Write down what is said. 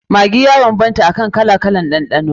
Maggi ya banbanta kan kalan ɗanɗano.